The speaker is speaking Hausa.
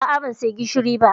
A'a, ban saya gishiri ba